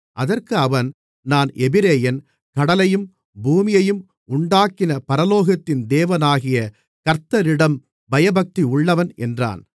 அதற்கு அவன் நான் எபிரெயன் கடலையும் பூமியையும் உண்டாக்கின பரலோகத்தின் தேவனாகிய கர்த்தரிடம் பயபக்தியுள்ளவன் என்றான்